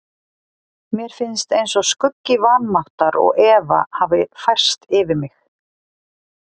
Mér finnst eins og skuggi vanmáttar og efa hafi færst yfir mig.